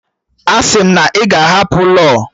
Asị m na ị ga-ahapụ law!